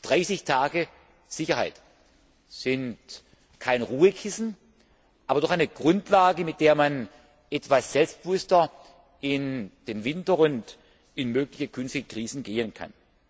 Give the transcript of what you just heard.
30 Tage Sicherheit sind kein Ruhekissen, aber doch eine Grundlage, mit der man etwas selbstbewusster in den Winter und in mögliche künftige Krisen gehen kann.